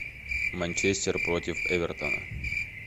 манчестер против эвертона